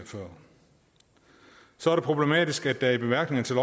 så er det problematisk at der i bemærkningerne til